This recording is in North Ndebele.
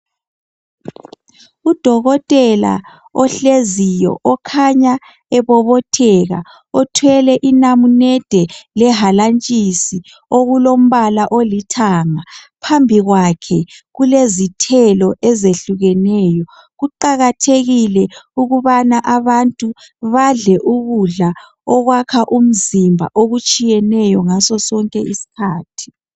Udokotela ohleziyo okhanya ebobotheka uthwlele inamunede lehalatshisi okulombala olithanga phambi kwakhe kulezithelo ezehlukeneyo kuqakathekile ukuthi abantu badle ukudla okuyakha umzimba okutshiyeneyo ngaso sonke isikhathi